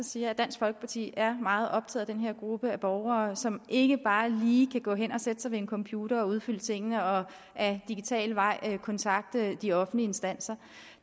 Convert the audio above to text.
siger at dansk folkeparti er meget optaget af den her gruppe af borgere som ikke bare lige kan gå hen og sætte sig ved en computer og udfylde tingene og ad digital vej kontakte de offentlige instanser